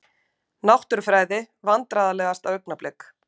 Náttúrufræði Vandræðalegasta augnablik?